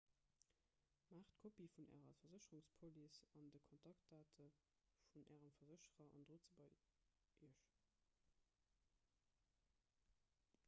maacht kopië vun ärer versécherungspolice an de kontaktdate vun ärem versécherer an drot se bei iech